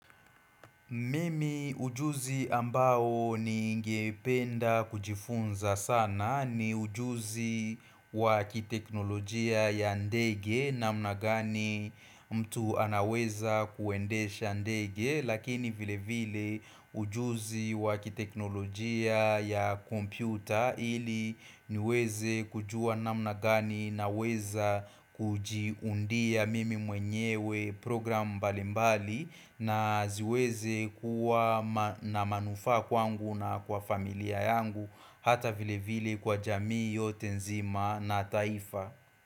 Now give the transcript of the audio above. Mimi ujuzi ambao ni ngependa kujifunza sana ni ujuzi wa kiteknolojia ya ndege namna ngani mtu anaweza kuendesha ndege lakini vile vile ujuzi wa kiteknolojia ya kompyuta ili niweze kujua namna gani na weza kujiundia mimi mwenyewe program mbalimbali na ziweze kuwa na manufaa kwangu na kwa familia yangu hata vile vile kwa jamii yote nzima na taifa.